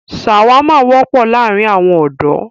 ṣàwámà wọ́pọ̀ láàrín àwọn ọ̀dọ̀.